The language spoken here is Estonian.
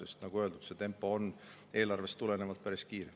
Aga nagu öeldud, see tempo on eelarvest tulenevalt päris kiire.